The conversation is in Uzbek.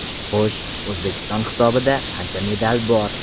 Xo‘sh, O‘zbekiston hisobida qancha medal bor?